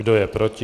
Kdo je proti?